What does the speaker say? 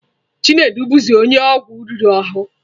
Chinedu bụzi onye ọgwụ riri ahụ.